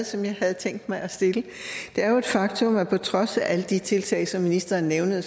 som jeg havde tænkt mig at stille det er jo et faktum at på trods af alle de tiltag som ministeren nævnede